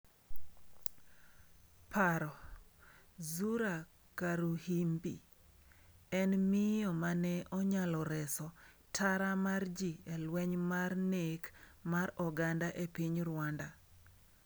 Paro: Zura Karuhimbi en miyo mane onyalo reso tara mar ji e lweny mar nek mar oganda e piny Rwanda